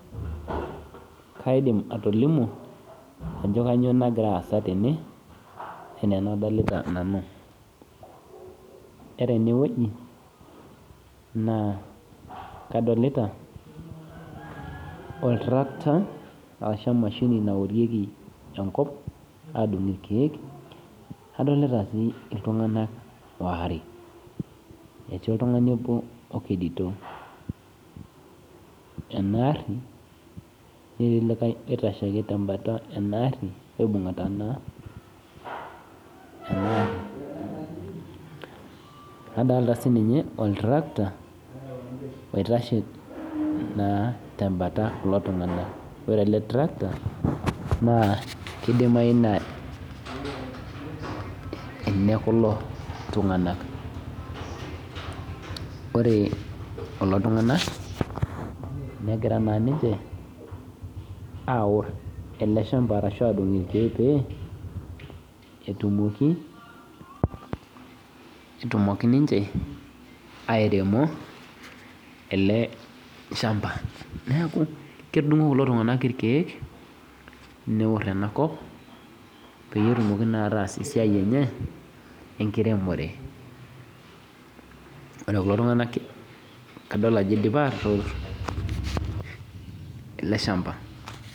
Kaidim atolimu ajo kanyio nagira aasa tene ana anadolta nanu ore enewueji na kadolta oltarakita arashu emashini naotieki enkop adung irkiek adolta si ltunganak aare, okedito enaari netii likae oitashe ake tenkalo enaari adolta sininye oltarakita oitashe na tembata kulo tunganak ore ele trakter kidimayu na enekulo tunganak ore kulo tunganak negira ninche aor eleshamba petumoki ninchebairemo ele shamba neaku ketudungo kulo tunganak irkiek neor enakop petumoki ataas esiai enye enkiremore ore kulo tunganak adol ajo idipa ator eleshamba.